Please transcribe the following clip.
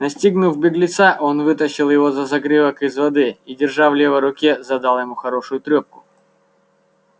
настигнув беглеца он вытащил его за загривок из воды и держа в левой руке задал ему хорошую трёпку